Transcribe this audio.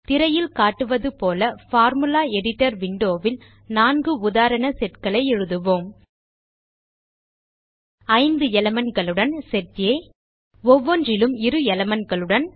திரையில் காட்டுவது போல பார்முலா எடிட்டர் விண்டோ ல் 4 உதாரண setகளை எழுதுவோம் 5 elementகளுடன் செட் ஆ ஒவ்வொன்றிலும் 2 elementகளுடன்